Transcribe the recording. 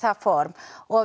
form og